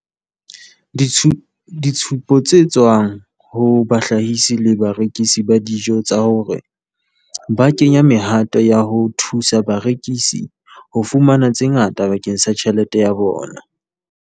ditshupo tse tswang ho bahlahisi le barekisi ba dijo tsa hore ba kenya mehato ya ho thusa barekisi ho fumana tse ngata bakeng sa tjhelete ya bona.